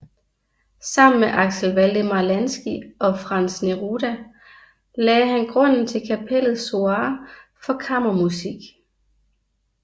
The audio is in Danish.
Sammen med Axel Waldemar Lanzky og Franz Neruda lagde han grunden til Kapellets soireer for kammermusik